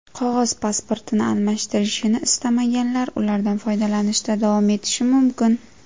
Qog‘oz pasportini almashtirishini istamaganlar ulardan foydalanishda davom etishi mumkin.